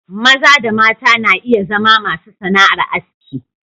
Maza da mata na iya zama masu sana'ar aski.